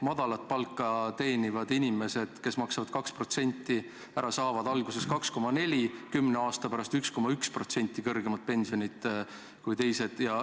Madalat palka teenivad inimesed, kes maksavad 2% ära, saavad alguses 2,4%, kümne aasta pärast 1,1% kõrgemat pensioni kui teised.